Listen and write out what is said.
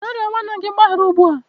Gaa rịọ nwanne gị mgbaghara ugbu a!